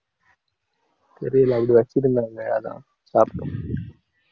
தெரியல அப்படி வச்சிருந்தாங்க அதான் சாப்பிட்டேன்